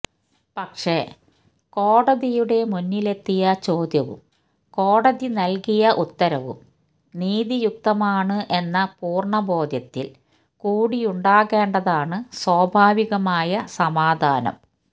പക്ഷേ കോടതിയുടെ മുന്നിലെത്തിയ ചോദ്യവും കോടതി നല്കിയ ഉത്തരവും നീതിയുക്തമാണ് എന്ന പൂര്ണബോധ്യത്തില് കൂടിയുണ്ടാകേണ്ടതാണ് സ്വാഭാവികമായ സമാധാനം